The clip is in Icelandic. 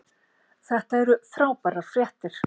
Þetta eru frábærar fréttir